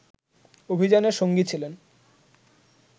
অভিযানের সঙ্গী ছিলেন